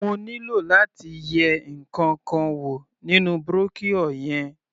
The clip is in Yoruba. Mo nílò láti yẹ ǹkankan wò nínú brochure yẹn.